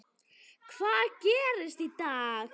Hvað gerist í dag?